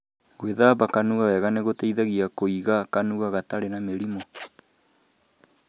Gwíthamba kanua wega nĩ gũteithagia kũiga kanua gatarĩ na mĩrimũ.